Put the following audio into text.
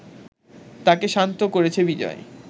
তাকে শান্ত করেছে বিজয়